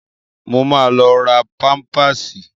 Mo ma lọ ra páḿpásì